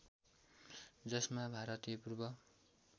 जसमा भारतीय पूर्व